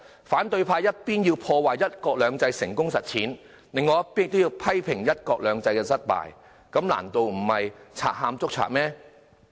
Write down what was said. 反對派一方面破壞"一國兩制"成功實踐，另一方面批評"一國兩制"失敗，難道不是賊喊捉賊嗎？